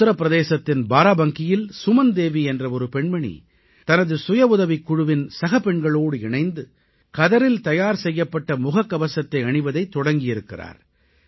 உத்திர பிரதேசத்தின் பாராபங்கியில் சுமன் தேவி என்ற ஒரு பெண்மணி தனது சுய உதவிக் குழுவின் சகப்பெண்களோடு இணைந்து கதரில் தயார் செய்யப்பட்ட முககவசத்தை அணிவதைத் தொடங்கியிருக்கிறார்